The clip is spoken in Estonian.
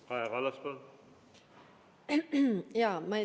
Kaja Kallas, palun!